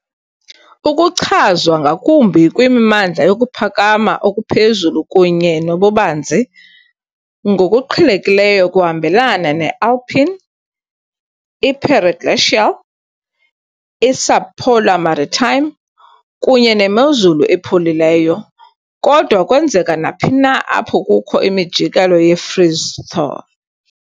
Ukuchazwa ngakumbi kwimimandla yokuphakama okuphezulu kunye nobubanzi, ngokuqhelekileyo kuhambelana ne-alpine, i-periglacial, i-subpolar maritime, kunye nemozulu epholileyo, kodwa kwenzeka naphi na apho kukho imijikelo ye-freeze-thaw.